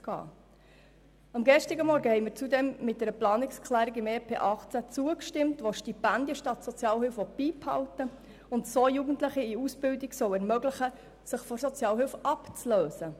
Zudem haben wir gestern Vormittag einer Planungserklärung zum EP 2018 zugestimmt, die Stipendien statt Sozialhilfe beibehalten will und so Jugendlichen in Ausbildung ermöglichen soll, sich von der Sozialhilfe abzulösen.